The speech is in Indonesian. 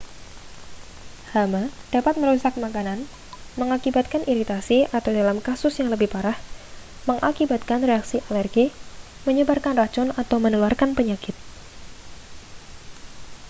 hama dapat merusak makanan mengakibatkan iritasi atau dalam kasus yang lebih parah mengakibatkan reaksi alergi menyebarkan racun atau menularkan penyakit